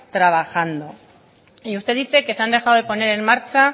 trabajando y usted dice que se han dejado de poner en marcha